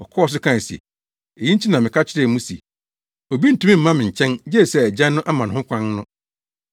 Ɔkɔɔ so kae se, “Eyi nti na meka kyerɛɛ mo se obi ntumi mma me nkyɛn gye sɛ Agya no ama no ho kwan” no.